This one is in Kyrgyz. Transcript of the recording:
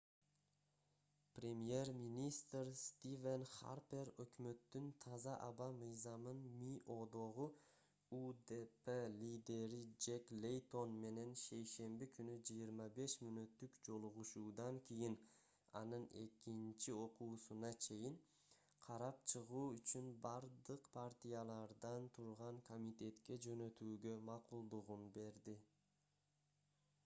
премьер-министр стивен харпер өкмөттүн таза аба мыйзамын миодогу удп лидери джек лейтон менен шейшемби күнү 25 мүнөттүк жолугушуудан кийин аны экинчи окуусуна чейин карап чыгуу үчүн бардык партиялардан турган комитетке жөнөтүүгө макулдугун берди